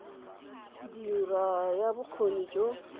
go dira ya bokgoni jo